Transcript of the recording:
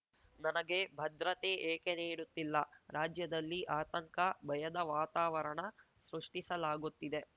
ನನಗೆ ಭದ್ರತೆ ಏಕೆ ನೀಡುತ್ತಿಲ್ಲ ರಾಜ್ಯದಲ್ಲಿ ಆತಂಕ ಭಯದ ವಾತಾವರಣ ಸೃಷ್ಟಿಸಲಾಗುತ್ತಿದೆ